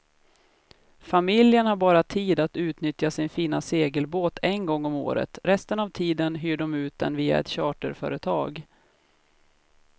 Familjen har bara tid att utnyttja sin fina segelbåt en gång om året, resten av tiden hyr de ut den via ett charterföretag.